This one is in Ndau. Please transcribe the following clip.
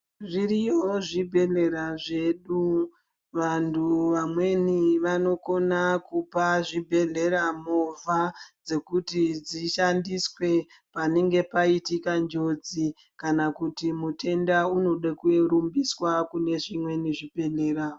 Zviriyo zvibhedhlera zvedu. Vantu vamweni vanokona kupa zvibhedhlera movha, dzekuti dzishandiswe, panenge paitika njodzi, kana kuti mutenda unoda kurumbisa kune zvimweni zvibhedhlera.